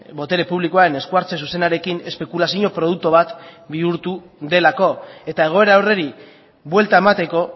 botere publikoan esku hartze zuzenarekin espekulazio produktu bat bihurtu delako eta egoera horri buelta emateko